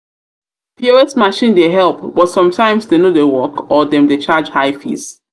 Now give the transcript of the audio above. pos machine dey help but sometimes dem no dey work or dem dey charge high fees.